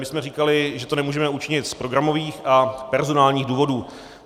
My jsme říkali, že to nemůžeme učinit z programových a personálních důvodů.